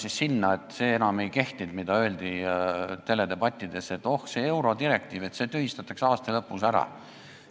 Võib-olla enam ei kehtinud see, mida öeldi teledebattides, et oh, see eurodirektiiv, see tühistatakse aasta lõpuks ära.